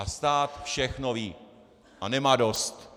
A stát všechno ví a nemá dost.